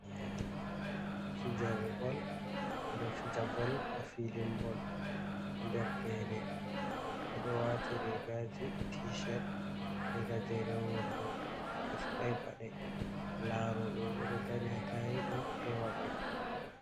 Fijoɓe bol ɓeɗo fija bol ha filing bol nder gene, ɓeɗo wati regaji tishet be gajeren wondo, be faɗai paɗe. Laroɓe bo ɗo dari ha ɗaiɗum ewa ɓe.